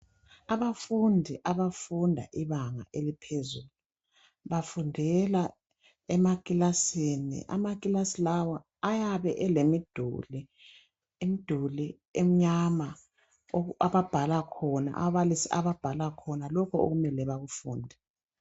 Abafundi abafunda ibanga eliphezulu, bafundela emakilasini. Amakilasi lawa ayabe elemiduli, imduli emnyama oku ababhala khona ababalisi ababhala khona lokho okumele bakufunde.